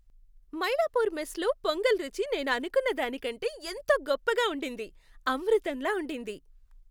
మైలాపూర్ మెస్లో పొంగల్ రుచి నేను అనుకున్నదాని కంటే ఎంతో గొప్పగా ఉండింది. అమృతంలా ఉండింది.